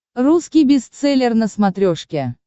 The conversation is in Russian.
русский бестселлер на смотрешке